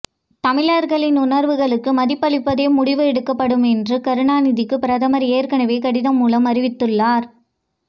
தமிழர்களின் உணர்வுகளுக்கு மதிப்பளித்தே முடிவு எடுக்கப்படும் என்று கருணாநிதிக்கு பிரதமர் ஏற்கனவே கடிதம் மூலம் அறிவித்துள்ளார்